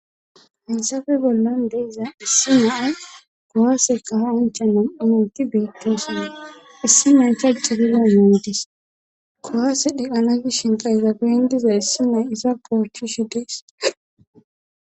Hessafe bollan deeza issi yo7a kowasekaha inchaman awonti beettoosina issi ma nchajjerina yundis kowasedhi ana gi shinka ezaben diza issi mey iza poocishi dees.